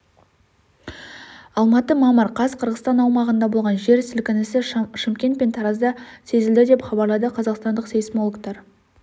алматы мамыр қаз қырғызстан аумағында болған жер сілкінісі шымкент пен таразда сезілді деп хабарлады қазақстандық сейсмологтар